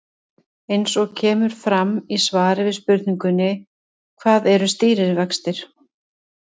Eins og kemur fram í svari við spurningunni Hvað eru stýrivextir?